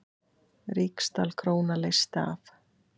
Ríksdal króna leysti af.